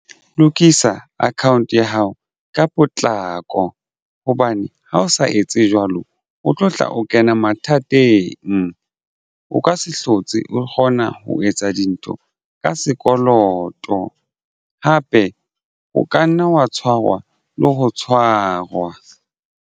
Lokisa account ya hao ka potlako hobane ha o sa etse jwalo o tlo tla o kena mathateng o ka se hlotse o kgona ho etsa dintho ka sekoloto hape o ka nna wa tshwarwa le ho tshwarwa.